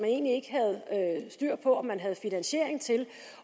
egentlig ikke havde styr på om man havde finansiering til